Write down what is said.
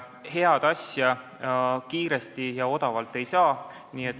Head asja kiiresti ja odavalt ei saa.